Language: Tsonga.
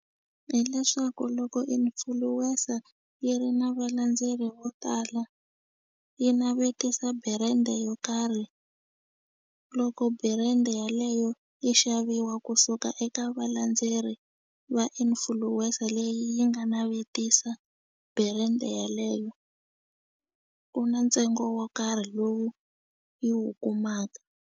Hileswaku loko influencer yi ri na valendzeri vo tala yi navetisa brand yo karhi loko brand yaleyo yi xaviwa kusuka eka valandzeleri va influencer leyi yi nga navetisa brand yaleyo ku na ntsengo wo karhi lowu yi wu kumaka.